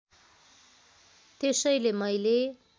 त्यसैले मैले